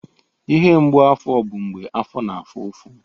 Ihe mgbu afọ bụ mgbe afọ na-afụ ụfụ.